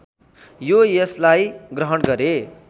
यो यसलाई ग्रहण गरे